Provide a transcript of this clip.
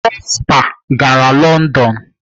Prosper gara London